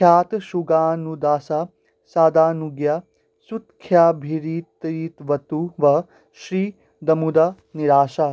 ख्यातसुज्ञानुदासा सादानुज्ञा सुतख्याभिरतिरवतु वः श्रीदमुद्रा निरासा